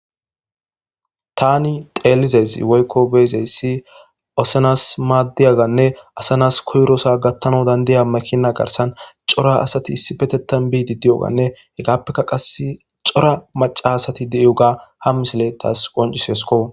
Tani xelizayisi woyko assa na'a maddiyane assa nasikoyiraso gathanawu danidayi makina garisani coora asat issipetetani bidi dewugane etik qasi coora macca assati daro soo gatanawu makina garisani isipetetani bidi dewuga hegappeka macca asati dewuga ha misuleyi tasi qoncisesiko